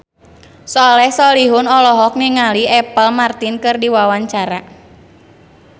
Soleh Solihun olohok ningali Apple Martin keur diwawancara